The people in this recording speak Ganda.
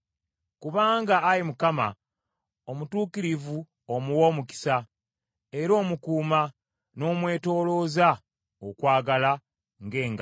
Kubanga, Ayi Mukama , omutuukirivu omuwa omukisa; era omukuuma, n’omwetoolooza okwagala ng’engabo.